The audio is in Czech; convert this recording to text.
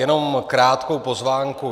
Jenom krátkou poznámku.